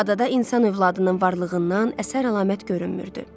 Adada insan övladının varlığından əsər əlamət görünmürdü.